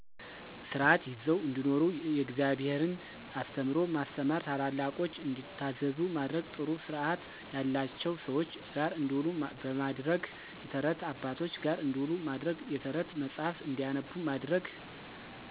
ስርዓት ይዘው እንዲኖሩ የእግዘብሔርን አስተምህሮ ማስተማር፣ ታላላቆች እንዲታዘዙ ማድረግ፣ ጥሩ ስርዐት ያለቸው ሰዎች ጋር እንዲውሉ በማድረግ። የተረት አባቶች ጋር እንዲውሉ ማድረግ፣ የተረት መጽሐፍ እንዲያነቡ ማድረግ